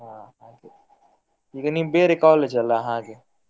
ಹಾ ಹಾಗೆ, ಈಗ ನೀವು ಬೇರೆ college ಅಲ್ಲ ಹಾಗೆ.